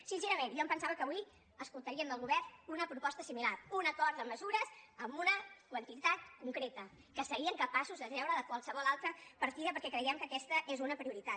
sincerament jo em pensava que avui escoltaríem del govern una proposta similar un acord de mesures amb una quantitat concreta que serien capaços de treure de qualsevol altra partida perquè creiem que aquesta és una prioritat